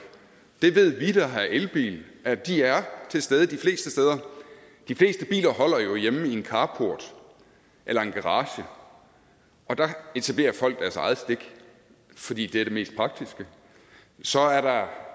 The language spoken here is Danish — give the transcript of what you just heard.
det ved vi der har elbil at de er til stede de fleste steder de fleste biler holder jo hjemme i carporten eller garagen og der etablerer folk deres eget stik fordi det er det mest praktiske så er der